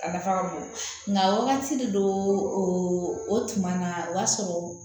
A nafa ka bon nka wagati de don o o tuma na o b'a sɔrɔ